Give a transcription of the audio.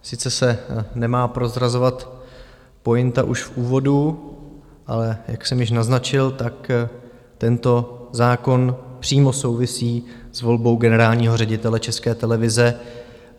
Sice se nemá prozrazovat pointa už v úvodu, ale jak jsem již naznačil, tak tento zákon přímo souvisí s volbou generálního ředitele České televize.